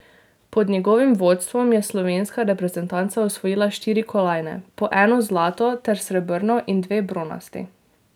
Pod njegovim vodstvom je slovenska reprezentanca osvojila štiri kolajne, po eno zlato ter srebrno in dve bronasti.